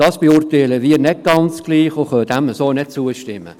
Dies beurteilen wir nicht ganz gleich und können dem so nicht zustimmen.